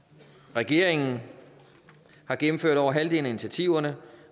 regeringen har gennemført over halvdelen af initiativerne